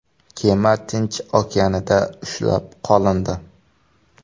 Kema Tinch okeanida ushlab qolindi.